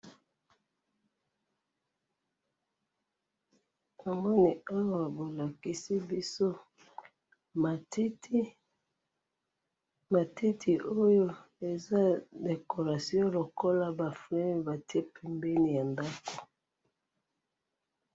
Namoni awa bolakisi biso matiti, matiti oyo eza ya décoration lokola ba fleurs batie pembeni ya ndako